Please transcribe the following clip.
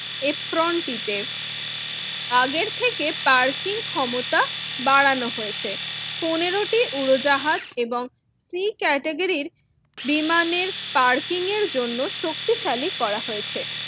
অ্যাপ্রোন টিতে আগের থেকে পার্কিং ক্ষমতা বাড়ানো হয়েছে পনেরোটি উড়োজাহাজ এবং সি ক্যাটাগরি বিমানের পার্কিংয়ের জন্য শক্তিশালী করা হয়েছে।